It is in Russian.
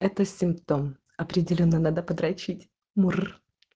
это симптом определённо надо подрочить мур